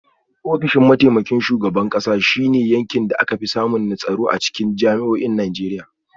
Ofishin mataimakin shugaban kasa shi ne yankin da aka fi samun tsaro a jami’o’in Najeriya.